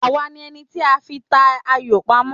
Àwa ni ẹni tí a fi ń ta ayò pamọ́?